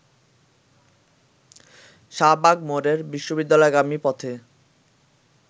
শাহবাগ মোড়ের বিশ্ববিদ্যালয়গামী পথে